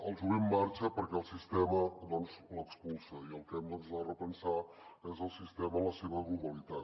el jovent marxa perquè el sistema l’expulsa i el que hem de repensar és el sistema en la seva globalitat